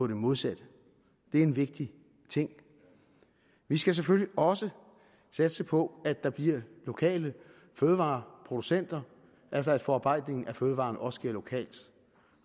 det modsatte det er en vigtig ting vi skal selvfølgelig også satse på at der bliver lokale fødevareproducenter altså at forarbejdningen af fødevarerne også sker lokalt